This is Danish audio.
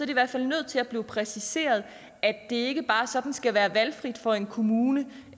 i hvert fald nødt til at blive præciseret at det ikke bare sådan skal være valgfrit for en kommune